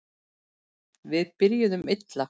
Við byrjuðum illa